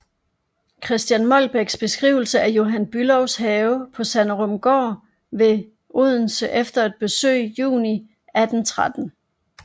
Christian Molbechs beskrivelse af Johan Bülows have på Sanderumgaard ved Odense efter et besøg juni 1813